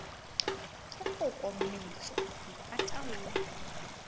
ke foko mmetso ke pataolo